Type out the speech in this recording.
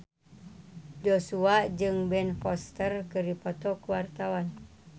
Joshua jeung Ben Foster keur dipoto ku wartawan